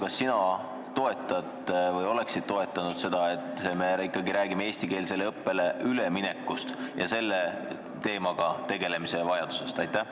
Kas sina toetad seda, et me räägime ikkagi eestikeelsele õppele üleminekust ja selle teemaga tegelemise vajadusest?